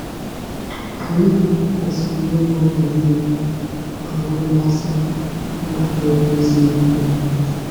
Anyị kwesịrị inwe obi eziokwu ma nwee mmasị ịnakwere ezi ndụmọdụ.